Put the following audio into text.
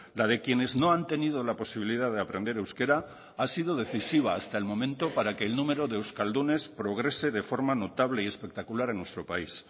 la de quienes no han tenido la posibilidad de aprender euskera ha sido decisiva hasta el momento para que el número de euskaldunes progrese de forma notable y espectacular en nuestro país